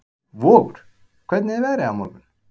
Vogur, hvernig er veðrið á morgun?